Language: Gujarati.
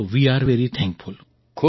તો વે અરે વેરી થેન્કફુલ